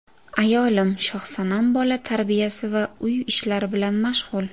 Ayolim Shohsanam bola tarbiyasi va uy ishlari bilan mashg‘ul.